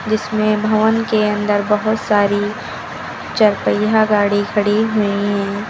जिसमें भवन के अंदर बहुत सारी चार पहिया गाड़ी खड़ी हुई हैं।